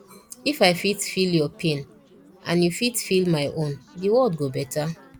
if i fit feel yur pain and yu fit feel my own de world go beta